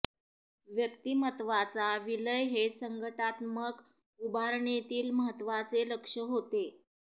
व्यक्तिमत्त्वाचा विलय हे संघटनात्मक उभारणीतील महत्त्वाचे लक्ष्य होते